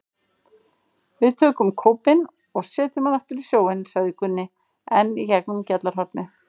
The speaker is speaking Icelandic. Við tökum kópinn og setjum hann aftur í sjóinn, sagði Gunni enn í gegnum gjallarhornið.